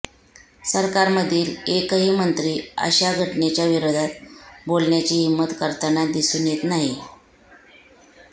सरकारमधील एकाही मंत्री अशा घटनेच्या विरोधात बोलण्याची हिम्मत करताना दिसून येत नाही